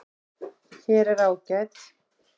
Hér er ágæt